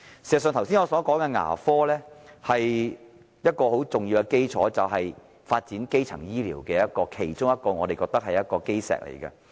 事實上，我剛才所說的牙科是一個很重要的基礎，是發展基層醫療的其中一塊基石。